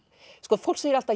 fólk segir alltaf